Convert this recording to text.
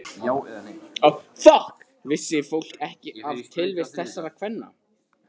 Vissi fólk ekki af tilvist þessara kvenna?